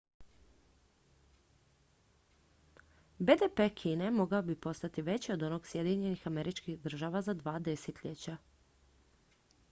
bdp kine mogao bi postati veći od onog sjedinjenih američkih država za dva desetljeća